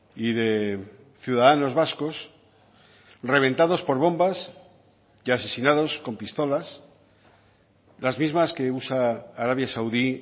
y de ciudadanos vascos reventados por bombas y asesinados con pistolas las mismas que usa arabia saudí